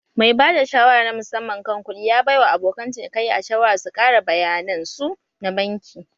Mai bada shawara na musamman kan kuɗi ya baiwa abokan cinikayya shawara su ƙara bayanan su na banki.